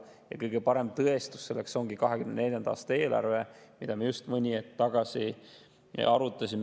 Ja kõige parem tõestus selleks ongi 2024. aasta eelarve, mida me just mõni hetk tagasi arutasime.